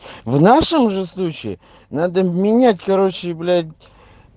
в нашем же случае надо менять короче блять